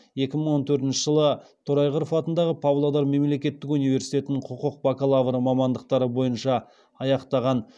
екі мың он төртінші жылы торайғыров атындағы павлодар мемлекеттік университетін құқық бакалавры мамандықтары бойынша аяқтаған